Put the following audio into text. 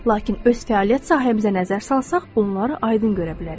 Lakin öz fəaliyyət sahəmizə nəzər salsaq, bunları aydın görə bilərik.